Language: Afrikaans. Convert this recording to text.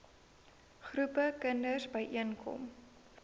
groepe kinders byeenkom